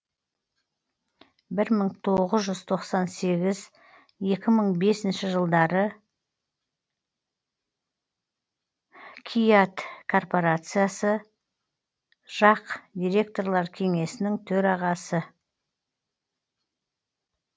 бір мың тоғыз жүз тоқсан сегіз екі мың бесінші жылдары кііат корпорациясы жақ директорлар кеңесінің төрағасы